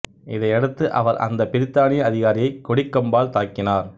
இதையடுத்து அவர் அந்த பிரித்தானிய அதிகாரியை கொடிக் கம்பால் தாக்கினார்